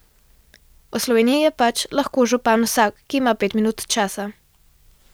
V Sloveniji je pač lahko župan vsak, ki ima pet minut časa.